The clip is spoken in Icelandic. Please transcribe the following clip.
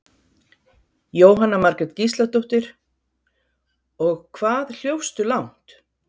Jóhanna Margrét Gísladóttir: Og hvað hljópstu langt?